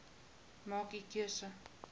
maak u keuse